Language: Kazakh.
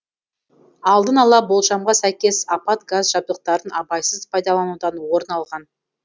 алдын ала болжамға сәйкес апат газ жабдықтарын абайсыз пайдаланудан орын алған